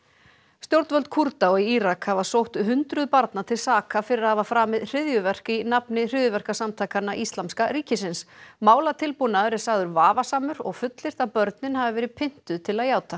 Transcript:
stjórnvöld Kúrda og í Írak hafa sótt hundruð barna til saka fyrir að hafa framið hryðjuverk í nafni hryðjuverkasamtakanna Íslamska ríkisins málatilbúnaður er sagður vafasamur og fullyrt að börnin hafi verið pyntuð til að játa